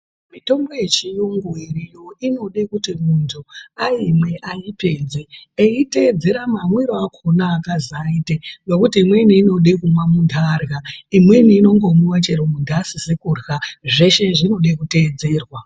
Mitombo yechiyungu iriyo inode kuti muntu aimwe aipedze eiteedzera mamwiro akona aakazi aite, ngokuti imweni inode kumwa muntu arya, imweni inomwiwe munhu asizi kurya, zveshe zvinode kuteedzerwa.